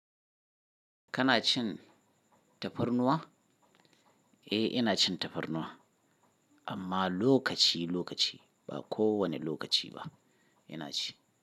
Kana cin tafarnuwa? Eh ina cin tafarnuwa amma lokaci lokaci ba kowani lokaci ba ina ci.